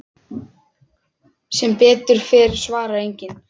Sem betur fer svarar enginn.